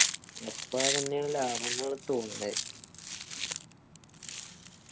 അപ്പൊ അതെന്നെയാണ് ലാഭം എന്ന് തോന്നുന്നേ